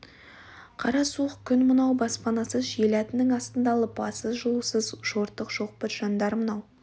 қара суық күн мынау баспанасыз жел әтінің астында лыпасыз жылусыз жыртық шоқпыт жандар мынау